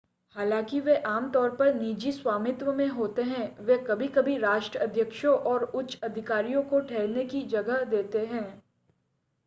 हालांकि वे आमतौर पर निजी स्वामित्व में होते हैं वे कभी-कभी राष्ट्राध्यक्षों और अन्य उच्चाधिकारियों को ठहरने की जगह देते हैं